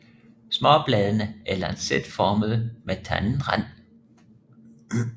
Småbladene er lancetformede med tandet rand